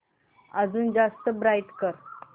अजून जास्त ब्राईट कर